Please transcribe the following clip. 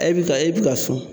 E bi ka e bi ka sun